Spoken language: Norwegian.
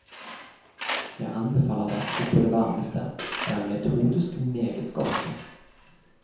Jeg anbefaler verket på det varmeste, det er metodisk meget godt.